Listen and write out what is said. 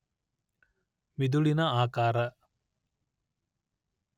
ಮಿದುಳಿನ ಆಕಾರ